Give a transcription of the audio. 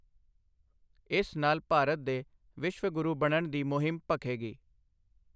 ਇਸ ਨਾਲ ਭਾਰਤ ਦੇ ਵਿਸ਼ਵ ਗੁਰੂ ਬਣਨ ਦੀ ਮੁਹਿੰਮ ਭਖੇਗੀ।